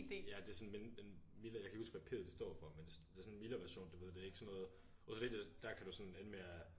Ja det er sådan men en mildere jeg kan ikke huske hvad P'et det står for men det er sådan det er sådan en mildere version du ved det er ikke sådan noget OCD det der kan du sådan ende med at